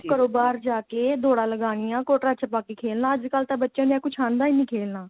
ਘਰੋ ਬਾਹਰ ਜਾ ਕੇ ਦੋੜਾ ਲਗਾਨੀਆਂ ਕੋਟਲਾ ਛਪਾਕੀ ਖੇਡਣਾ ਅੱਜਕਲ ਤਾਂ ਬੱਚਿਆ ਨੂੰ ਕੁੱਝ ਆਂਦਾ ਈ ਨਹੀਂ ਖੇਡਣਾ